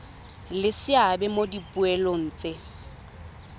le seabe mo dipoelong tse